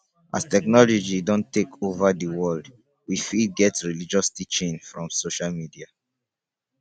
as technology don take over di world we fit get religious teaching from social media